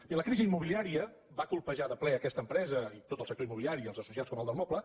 i la crisi immobiliària va colpejar de ple aquesta empre·sa i tot el sector immobiliari i els associats com el del moble